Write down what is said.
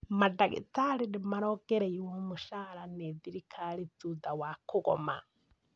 Mandagĩtarĩ nĩ marongereirwo mũcara nĩ thirikari thutha wa kũgoma